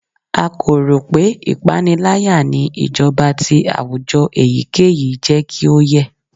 A ko ro pe ipanilaya ni ijọba ti awujọ eyikeyi jẹ ki o yẹ